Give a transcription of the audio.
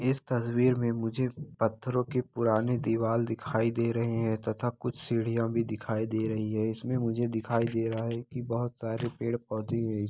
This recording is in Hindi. इस तस्वीर में मुझे पत्थरो की पुरानी दीवाल दिखाई दे रहे है तथा कुछ सीढ़ियां भी दिखाई दे रही हैं इसमें मुझे दिखाई दे रहा है कि बहोत सारे पेड़-पौधे ---